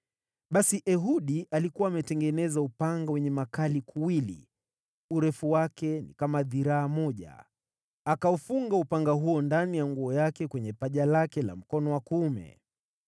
Basi Ehudi alikuwa ametengeneza upanga wenye ukatao kuwili, urefu wake ni kama dhiraa moja, akaufunga upanga huo ndani ya nguo yake kwenye paja lake la mkono wa kuume.